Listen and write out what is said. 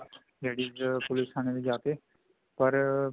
ladies police ਥਾਣੇ ਚ ਜਾ ਕੇ ਪਰ